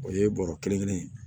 O ye bɔrɔ kelen kelen ye